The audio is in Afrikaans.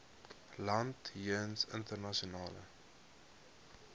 land jeens internasionale